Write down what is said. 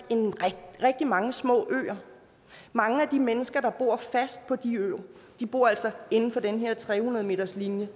har rigtig mange små øer mange af de mennesker der bor fast på de øer bor altså inden for den her tre hundrede meterslinje